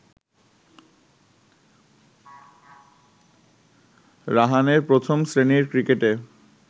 রাহানের প্রথম শ্রেণীর ক্রিকেটে